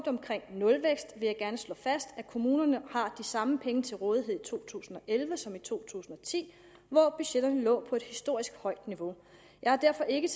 nulvækst vil jeg gerne slå fast at kommunerne har de samme penge til rådighed i to tusind og elleve som i to tusind og ti hvor budgetterne lå på et historisk højt niveau jeg har derfor ikke